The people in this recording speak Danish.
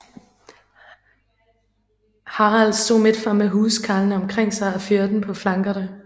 Harold stod midtfor med huskarlene omkring sig og med fyrden på flankerne